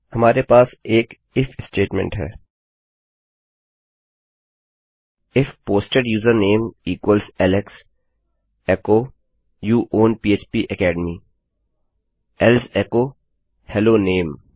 हमारे पास एक इफ statementस्टेटमेंट है if posted user name equals Alex एकोecho यू ओवन फ्पेकेडमी एल्से एचो हेलो नामे